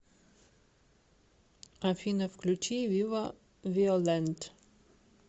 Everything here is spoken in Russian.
афина включи вива виолент